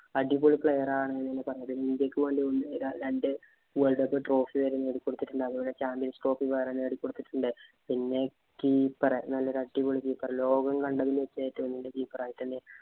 അടിപൊളി player ആണ് എന്നാ പറഞ്ഞത്. ഇന്ത്യയ്ക്ക് വേണ്ടി രണ്ടു world cup trophy വരെ നേടിക്കൊടുത്തിട്ടുണ്ട്. അതുപോലെ champions trophy വേറെ നേടിക്കൊടുത്തിട്ടുണ്ട്. പിന്നെ keeper നല്ല അടിപൊളി keeper ലോകം കണ്ടതില്‍ വച്ച് ഏറ്റവും നല്ല keeper ആയിട്ടുണ്ട്‌.